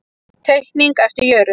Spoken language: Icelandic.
Teikning eftir Jörund.